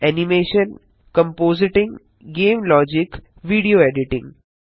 animation compositing game logic video editing